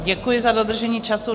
Děkuji za dodržení času.